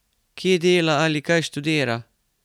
Kje dela ali kaj študira?